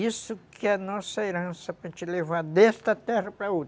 Isso que é a nossa herança, para gente levar desta terra para outra.